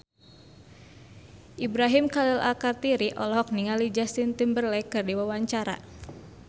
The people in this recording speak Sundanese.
Ibrahim Khalil Alkatiri olohok ningali Justin Timberlake keur diwawancara